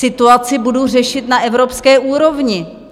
Situaci budu řešit na evropské úrovni.